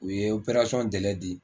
U ye di